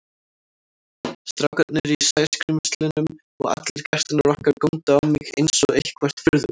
Strákarnir í Sæskrímslunum og allir gestirnir okkar góndu á mig einsog eitthvert furðuverk.